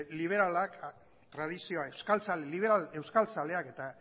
liberal euskaltzaleak eta